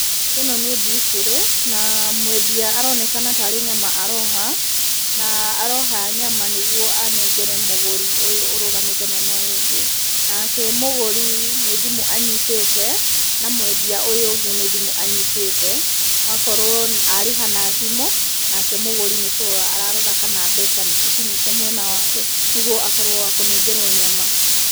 Ĩno nĩ mbucĩrĩ na mwendia aronekana tarĩ nyama aroha, na aroha nyama nĩguo anengere mũgũri ũyũ ũrũgamĩte mwena ũyũ ũngĩ. Nake mũgũri nĩ thimũ anyitĩte na mwendia ũyũ ũngĩ nĩ thimũ anyitĩte, akorwo arĩha na thimũ nake mũgũri nĩ kũrora ararora kana mbeca nĩ cikinyĩte mwena wake nĩguo akorwo wa kũnengerwo nyama.